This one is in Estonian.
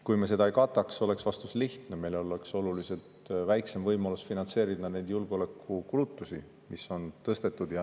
Kui me seda ei kataks, oleks vastus lihtne: meil oleks oluliselt väiksem võimalus finantseerida neid julgeolekukulutusi, mis on tõstetud.